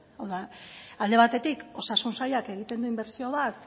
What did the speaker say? hau da alde batetik osasun sailak egiten du inbertsio bat